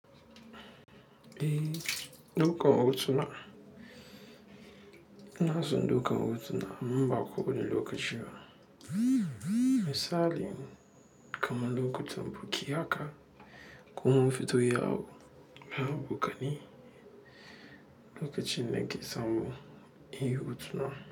Eh, ɗaukan hoto. Inason ɗaukan hoto amman ba ko wani lokaci ba, misali kaman lokacin buki haka, kuma mun fito yawo, ya buƙa ni, lokacin na ke samu, inyi hotuna.